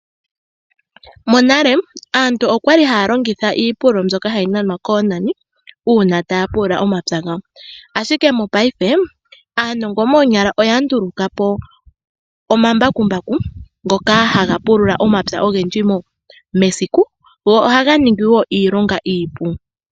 Monale aantu okwa li haa longitha iipululo mbyoka hayi nanwa koonani uuna taya pulula omapya gawo, ashike mopaife aanongo moonyala oya nduluka po omambakumbaku ngoka haga pulula omapya ogendji mesiku go ohaga ningi woo iilonga iipu.